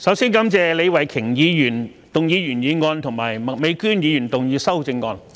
主席，首先感謝李慧琼議員動議原議案及麥美娟議員動議修正案。